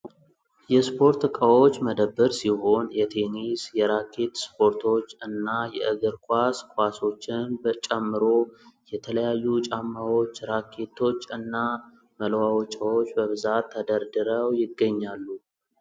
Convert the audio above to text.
የስፖርት ዕቃዎች መደብር ሲሆን የቴኒስ፣ የራኬት ስፖርቶች፣ እና የእግር ኳስ ኳሶችን ጨምሮ የተለያዩ ጫማዎች፣ ራኬቶች እና መለዋወጫዎች በብዛት ተደርድረው ይገኛሉ።